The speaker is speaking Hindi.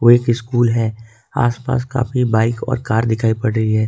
एक स्कूल है आसपास काफी बाइक और कार दिखाई पड़ रही है।